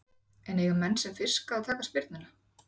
En eiga menn sem fiska að taka spyrnuna?